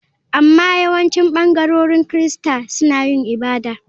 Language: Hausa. Amma yawancin ɓangarorin Kirista suna yin ibada.